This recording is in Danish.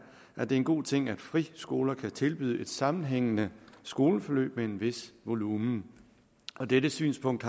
at det er en god ting at friskolerne kan tilbyde et sammenhængende skoleforløb med en vis volumen og det er et synspunkt